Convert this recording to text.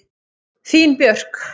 Þín Björk.